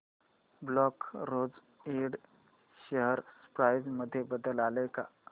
black rose इंड share price मध्ये बदल आलाय का